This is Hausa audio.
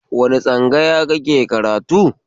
Wani tsangaya kake karatu?